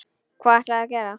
Hvað ætlarðu að gera?